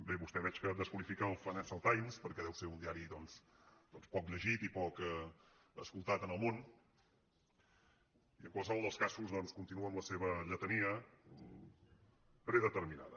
bé vostè veig que desqualifica el financial times per·què deu ser un diari poc llegit i poc escoltat en el món i en qualsevol dels casos continua amb la seva lletania predeterminada